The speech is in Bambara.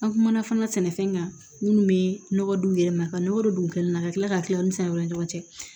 An kumana fana sɛnɛfɛn kan minnu bɛ nɔgɔ don u yɛrɛ ma ka nɔgɔ de kɛ na ka tila ka tila u ni sɛnɛ wɛrɛw ni ɲɔgɔn cɛ